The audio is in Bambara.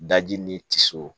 Daji ni tiso